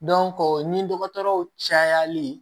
ni dɔgɔtɔrɔw cayali